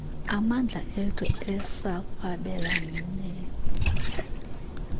amandla ethu asekwabelaneni